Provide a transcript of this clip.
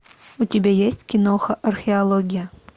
у тебя есть киноха археология